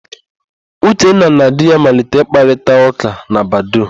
Uchenna na di ya malitere ịkparịtaụ́kà na Badoo.